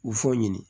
U fɔ ɲini